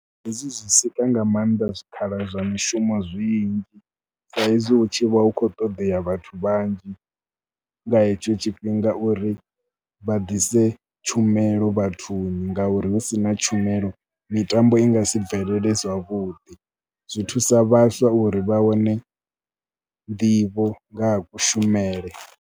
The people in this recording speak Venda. Hezwi zwi sika nga maanḓa zwikhala zwa mishumo zwinzhi saizwi hu tshi vha hu khou ṱoḓea vhathu vhanzhi nga hetsho tshifhinga uri vha ḓise tshumelo vhathuni ngauri hu si na tshumelo mitambo i nga si bvelele zwavhuḓi. Zwi thusa vhaswa uri vha wane nḓivho nga ha kushumele.